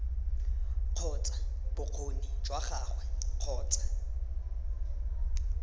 kgotsa bokgoni jwa gagwe kgotsa